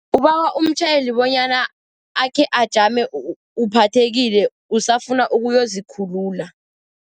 Ubawa umtjhayeli bonyana akhe ajame uphathekile, usafuna ukuyozikhulula.